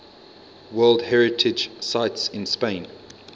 world heritage sites in spain